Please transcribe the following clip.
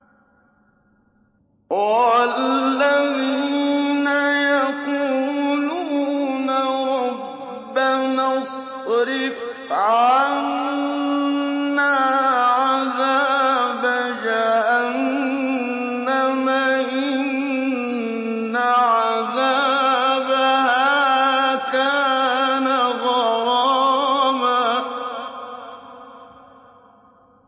وَالَّذِينَ يَقُولُونَ رَبَّنَا اصْرِفْ عَنَّا عَذَابَ جَهَنَّمَ ۖ إِنَّ عَذَابَهَا كَانَ غَرَامًا